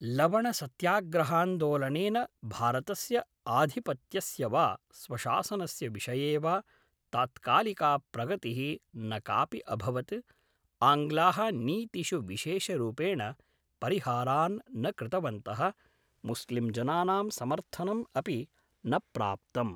लवणसत्याग्रहान्दोलनेन भारतस्य आधिपत्यस्य वा स्वशासनस्य विषये वा तात्कालिका प्रगतिः न कापि अभवत्, आङ्ग्लाः नीतिषु विशेषरूपेण परिहारान् न कृतवन्तः, मुस्लिम्जनानां समर्थनम् अपि न प्राप्तम्।